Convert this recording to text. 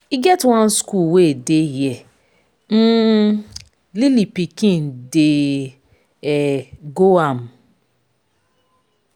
e get one school wey dey here um lily pikin dey um go am.